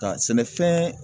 Ka sɛnɛfɛn